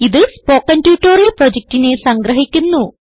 ഇതു spoken tutorial പ്രൊജക്റ്റിനെ സംഗ്രഹിക്കുന്നു